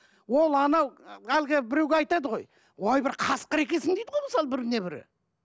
ол анау әлгі біреуге айтады ғой ой бір қасқыр екенсің дейді ғой мысалы біріне бірі